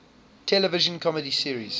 television comedy series